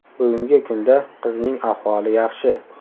Bugungi kunda qizning ahvoli yaxshi.